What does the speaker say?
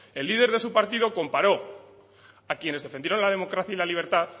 el líder de su partido comparó a quienes defendieron la democracia y la libertad